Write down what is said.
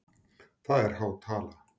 Það er há tala?